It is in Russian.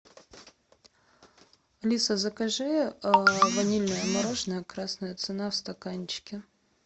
алиса закажи ванильное мороженое красная цена в стаканчике